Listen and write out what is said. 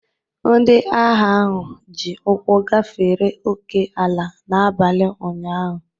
Ndị agha ahụ ji ụkwụ gafere ókè-ala n'abalị ụnyahụ